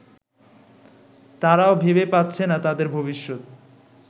তারাও ভেবে পাচ্ছে না তাদের ভবিষ্যৎ